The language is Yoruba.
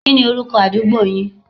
Kí ni orúkọ àdúgbo yin?